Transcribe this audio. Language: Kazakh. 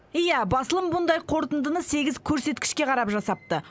иә басылым бұндай қорытындыны сегіз көрсеткішке қарап жасапты